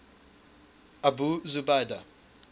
abu zubaydah